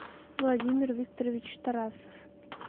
владимир викторович тарасов